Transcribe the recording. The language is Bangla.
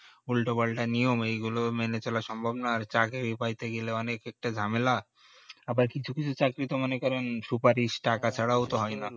উল্টোপাল্টা নিয়ম এইগুলো মেনে চলা সম্ভব না আর চাকরি পাইতে গেলে অনেক ঝামেলা আবার কিছু কিছু চাকরি তো মনে করেন সুপারিশ টাকা ছাড়া ও হয় না